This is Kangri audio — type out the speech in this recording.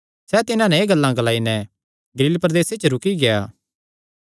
सैह़ तिन्हां नैं एह़ गल्लां ग्लाई नैं गलील प्रदेसे च ई रूकी गेआ